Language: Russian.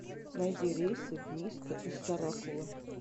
найди рейсы в миско из сарапула